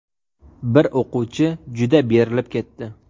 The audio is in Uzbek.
Bir o‘quvchi juda berilib ketdi .